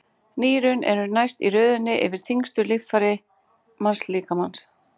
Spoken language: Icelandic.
Nýrun eru næst í röðinni yfir þyngstu líffæri mannslíkamans.